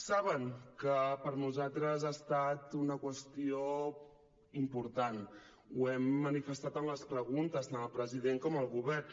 saben que per nosaltres ha estat una qüestió important ho hem manifestat amb les preguntes tant al president com al govern